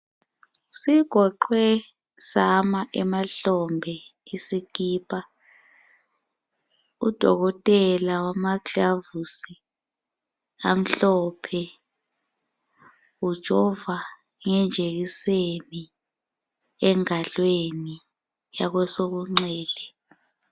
Sigoqwe sama emahlombe isikipa. Udokotela wamaglavusi amhlophe ujova ngenjekiseni engalweni yakwesokunxele.